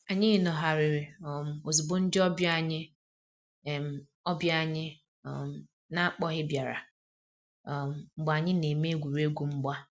Anyị nọgharịrị um ozugbo ndị ọbịa anyị um ọbịa anyị um n'akpoghi biara um mgbe anyị na-eme egwuregwu mgba